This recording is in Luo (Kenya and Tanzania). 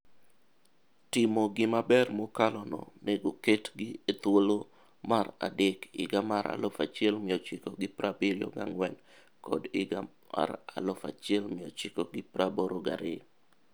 Timo gi maber mokalo no nego ketgi e thuolo mar adek higa mar 1974 kod 1982.